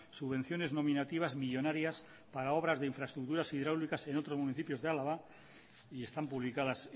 subvenciones nominativas millónarias para obras de infraestructuras hidráulicas en otros municipios de álava y están publicadas